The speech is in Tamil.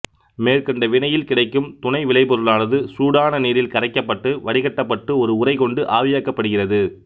மேற்கண்ட வினையில் கிடைக்கும் துணை விளைபொருளானது சூடான நீரில் கரைக்கப்பட்டு வடிகட்டப்பட்டு ஒரு உறை கொண்டு ஆவியாக்கப்படுகிறது